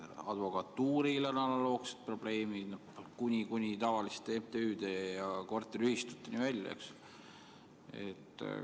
Advokatuuril on analoogsed probleemid kuni tavaliste MTÜ-de ja korteriühistuteni välja.